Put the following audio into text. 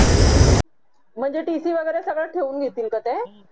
म्हणजे tc वगैरे सगळं ठेवून घेतील का ते